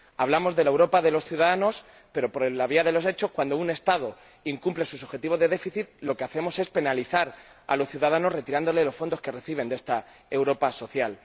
Hablamos de la Europa de los ciudadanos, pero por la vía de los hechos, cuando un Estado incumple sus objetivos de déficit, lo que hacemos es penalizar a los ciudadanos retirándoles los fondos que reciben de esta Europa social.